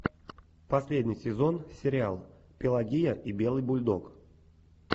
последний сезон сериал пелагия и белый бульдог